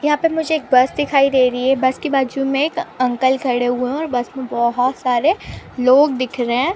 यहाँ पे मुझे एक बस दिखाई दे रही है बस के बाजु में एक अंकल खड़े हुए है और बस में बहोत सारे लोग दिख रहे है ।